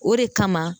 O de kama